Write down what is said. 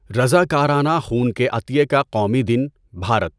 رضاکارانه خون کے عطیے کا قومی دن، بھارت